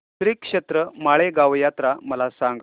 श्रीक्षेत्र माळेगाव यात्रा मला सांग